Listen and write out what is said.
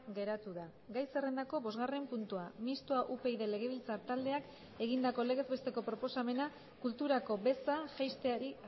geratu da gai zerrendako bosgarren puntua mistoa upyd legebiltzar taldeak egindako legez besteko proposamena kulturako beza jaisteari